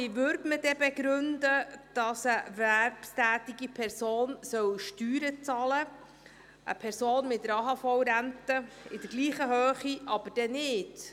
Wie würde man begründen, dass eine erwerbstätige Person Steuern zahlen soll, eine Person mit einer AHV-Rente in selbiger Höhe aber nicht?